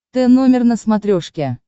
т номер на смотрешке